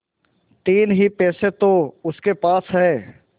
तीन ही पैसे तो उसके पास हैं